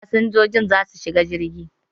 Fasinjiji za su shiga jirgi